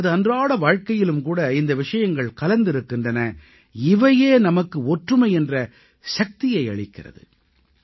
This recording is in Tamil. நமது அன்றாட வாழ்க்கையிலும் கூட இந்த விஷயங்கள் கலந்திருக்கின்றன இவையே நமக்கு ஒற்றுமை என்ற சக்தியை அளிக்கிறது